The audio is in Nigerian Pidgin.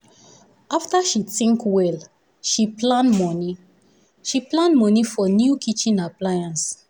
after she think well she plan money she plan money for new kitchen appliance.